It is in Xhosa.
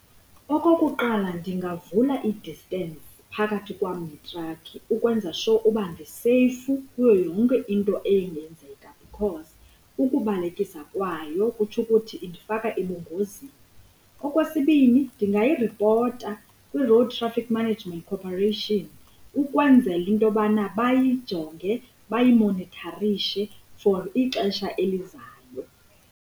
Okokuqala, ndingavula i-distance phakathi kwam neetrakhi ukwenza sure uba ndiseyifu kuyo yonke into engenzeka because ukubalekisa kwayo kutsho ukuthi indifaka ebungozini. Okwesibini, ndingayiripota kwi-Road Traffic Management Cooperation ukwenzela into yobana bayijonge bayimonitharishe for ixesha elizayo.